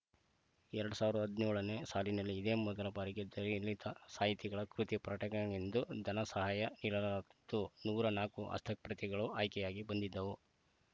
ಎರಡ್ ಸಾವಿರದ ಹದಿನೇಳನೇ ಸಾಲಿನಲ್ಲಿ ಇದೇ ಮೊದಲ ಬಾರಿಗೆ ದ ಲಿ ಲಿ ತ ಸಾಹಿತಿಗಳ ಕೃತಿ ಪ್ರಟಣೆಯೆಂದು ಧನ ಸಹಾಯ ನೀಡಲಾತ್ತು ನೂರ ನಾಲ್ಕು ಹಸ್ತಪ್ರತಿಗಳು ಆಯ್ಕೆಗಾಗಿ ಬಂದಿದ್ದವು